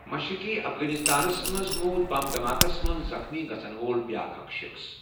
مشرقی افغانستانَس منٛز موٗد بم دھماکَس منٛز زخمی گژھَن وول بیٛاکھ اکھ شخٕص۔